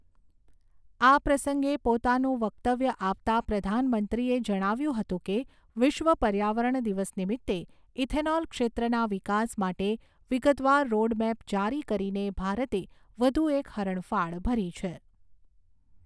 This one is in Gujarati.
આ પ્રસંગે પોતાનું વકતવ્ય આપતાં પ્રધાનમંત્રીએ જણાવ્યુંં હતું કે વિશ્વ પર્યાવરણ દિવસ નિમિત્તે ઈથેનોલ ક્ષેત્રના વિકાસ માટે વિગતવાર રોડમેપ જારી કરીને ભારતે વઘુ એક હરણફાળ ભરી છે.